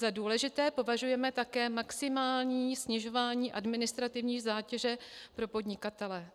Za důležité považujeme také maximální snižování administrativní zátěže pro podnikatele.